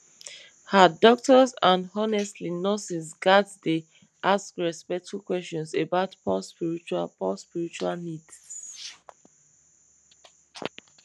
ah doctors and honestly nurses ghats dey ask respectful questions about paue spiritual paue spiritual needs